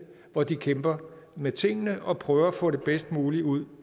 hvor de kæmper med tingene og prøver at få det bedst mulige ud